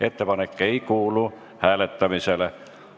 Ettepanek ei kuulu hääletamisele.